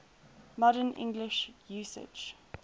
modern english usage